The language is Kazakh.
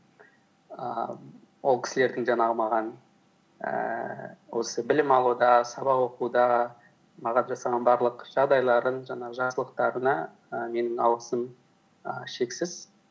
ііі ол кісілердің жаңағы маған ііі осы білім алуда сабақ оқуда маған жасаған барлық жағдайларын жаңағы жақсылықтарына і менің алғысым і шексіз